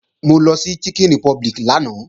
Mo lọ sí Chicken Republic lánàá